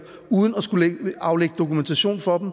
uden at skulle aflægge dokumentation for dem